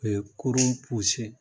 Ɛɛ kurun